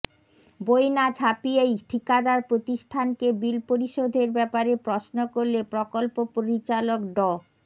বই না ছাপিয়েই ঠিকাদার প্রতিষ্ঠানকে বিল পরিশোধের ব্যাপারে প্রশ্ন করলে প্রকল্প পরিচালক ড